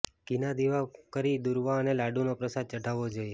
ઘીના દીવા કરી દૂર્વા અને લાડુનો પ્રસાદ ચઢાવવો જોઇએ